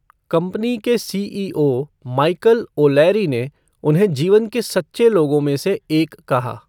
Company के CEO Michael O'Leary ने उन्हें जीवन के सच्चे लोगों में से एक कहा।